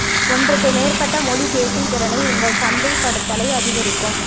ஒன்றுக்கு மேற்பட்ட மொழி பேசும் திறனை உங்கள் சந்தைப்படுத்தலை அதிகரிக்கும்